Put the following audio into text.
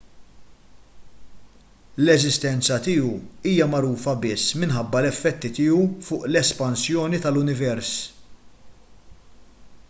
l-eżistenza tiegħu hija magħrufa biss minħabba l-effetti tiegħu fuq l-espansjoni tal-univers